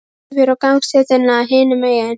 Skaust yfir á gangstéttina hinum megin.